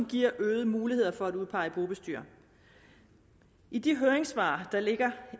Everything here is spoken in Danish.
giver øgede muligheder for at udpege en bobestyrer i de høringssvar der ligger